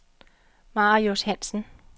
Marius Hansen